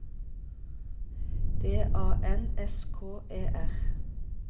D A N S K E R